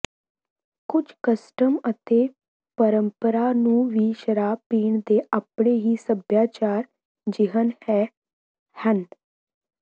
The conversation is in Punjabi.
ਕੁਝ ਕਸਟਮ ਅਤੇ ਪਰੰਪਰਾ ਨੂੰ ਵੀ ਸ਼ਰਾਬ ਪੀਣ ਦੇ ਆਪਣੇ ਹੀ ਸਭਿਆਚਾਰਕ ਿਜਹਨ ਹੈ ਹਨ